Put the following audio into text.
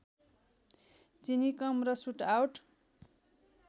चिनी कम र सुटआउट